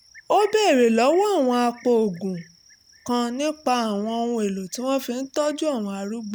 ó béèrè lọ́wọ́ apòògùn kan nípa àwọn ohun-èlò tí wọ́n fi ń tọ́jú àwọn arúgbó